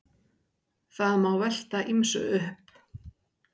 Það má velta ýmsu upp.